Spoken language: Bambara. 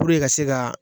ka se ka